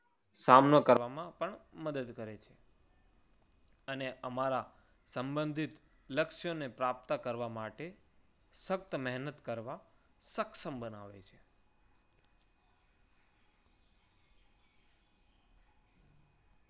સામનો કરવામાં પણ મદદ કરે છે. અને અમારા સંબંધીત લક્ષ્યને પ્રાપ્ત કરવા માટે સખ્ત મહેનત કરવા સક્ષમ બનાવે છે.